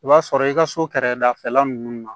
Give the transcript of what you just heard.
I b'a sɔrɔ i ka so kɛrɛdafɛla ninnu na